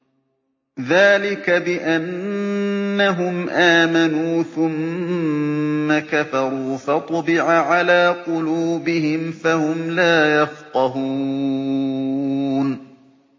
ذَٰلِكَ بِأَنَّهُمْ آمَنُوا ثُمَّ كَفَرُوا فَطُبِعَ عَلَىٰ قُلُوبِهِمْ فَهُمْ لَا يَفْقَهُونَ